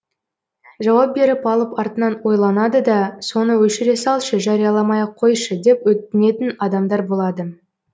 жауап беріп алып артынан ойланады да соны өшіре салшы жарияламай ақ қойшы деп өтінетін адамдар болады